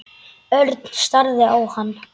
Örn starði á hann.